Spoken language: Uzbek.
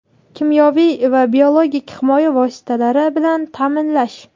kimyoviy va biologik himoya vositalari bilan taʼminlash;.